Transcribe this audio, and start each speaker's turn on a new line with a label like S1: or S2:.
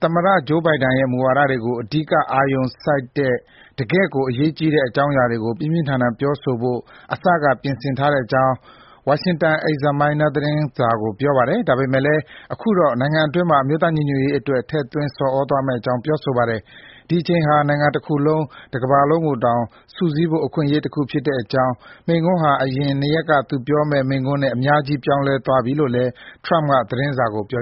S1: သမ္မတဂျိုးဘိုင်ဒန်ရဲ့ မူဝါဒတွေကို အဓိက အာရုံစိုက်တဲ့ တကယ့်ကို အရေးကြီးတဲ့ အကြောင်းအရာတွေကို ပြင်းပြင်းထန်ထန် ပြောဆိုဖို့ အစက ပြင်ဆင်ထားတဲ့အကြောင်း Washington Examiner သတင်းစာကို ပြောပါတယ်။ ဒါပေမဲ့လည်း အခုတော့ နိုင်ငံအတွင်းမှာ အမျိုးသားညီညွတ်ရေးအတွက် ထည့်သွင်း ဆော်ဩသွားမယ့်အကြောင်း ပြောဆိုပါတယ်။ ဒီအချိန်ဟာ နိုင်ငံတခုလုံး၊ ကမ္ဘာတခုလုံးကိုတောင် စုစည်းဖို့ အခွင့်အရေးတခု ဖြစ်တဲ့အကြောင်း၊ မိန့်ခွန်းဟာ အရင် နှစ်ရက်က သူပြောမယ့် မိန့်ခွန်းနဲ့ အများကြီး ပြောင်းလဲသွားပြီလိ
S2: ု့လည်း ထရမ့်က သတင်းစာကို ပြော